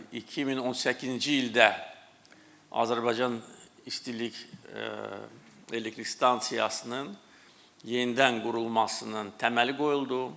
2018-ci ildə Azərbaycan İstilik Elektrik Stansiyasının yenidən qurulmasının təməli qoyuldu.